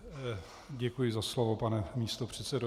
Děkuji za slovo, pane místopředsedo.